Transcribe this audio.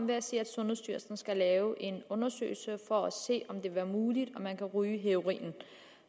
ved at sige at sundhedsstyrelsen skal lave en undersøgelse for at se om det vil være muligt at man kan ryge heroinen